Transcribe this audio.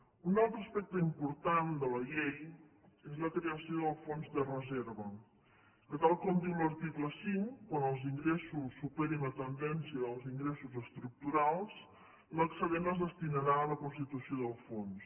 un altre aspecte important de la llei és la creació del fons de reserva que tal com diu l’article cinc quan els ingressos superin la tendència dels ingressos estructurals l’excedent es destinarà a la constitució del fons